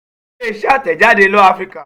ile-iṣẹ atẹjade law africa